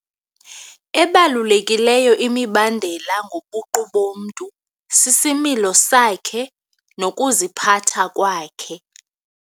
Ebalulekileyo imibandela ngobuqu bomntu sisimilo sakhe nokuziphatha kwakhe.